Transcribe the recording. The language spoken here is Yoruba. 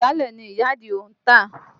Ìgbálẹ̀ ni ìyá Àdìó ń tà